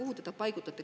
Kuhu te ta paigutaksite?